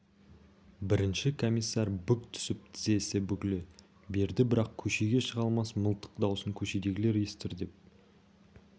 бірінші комиссар бүк түсіп тізесі бүгіле берді бірақ көшеге шыға алмас мылтық даусын көшедегілер естір деп